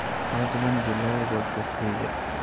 fadlan bilow podcast-kayga